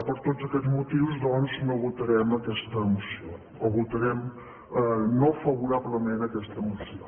per tots aquest motius doncs no votarem aquesta moció o votarem no favorablement aquesta moció